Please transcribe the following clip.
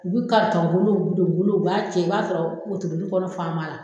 Olu ka u b'a cɛ i b'a sɔrɔ